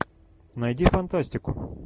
найди фантастику